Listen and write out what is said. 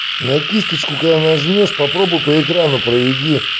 на кисточку когда нажмёшь попробуй по экрану проведи